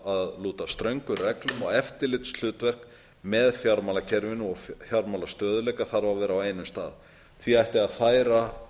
þarf að lúta ströngum reglum og eftirlitshlutverk með fjármálakerfinu og fjármálastöðugleika þarf að vera á einum stað því ætti að færa